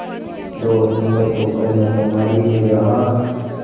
दो अक्तूबर को कन्याकुमारी में जहाँ